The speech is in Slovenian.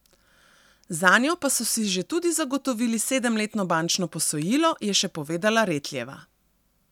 Zanjo pa so si že tudi zagotovili sedemletno bančno posojilo, je še povedala Retljeva.